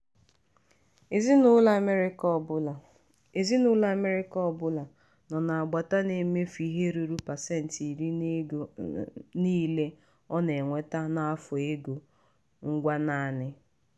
ezinụlọ amerịka ọbụla ezinụlọ amerịka ọbụla nọ n'agbata na-emefu ihe ruru pasenti iri n'ego niile ọ na-enweta n'afọ n'ego ngwa naanị.